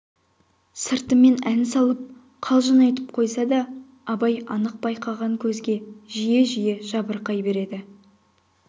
сыртымен ән салып қалжың айтып қойса да абай анық байқаған көзге жиі-жиі жабырқай береді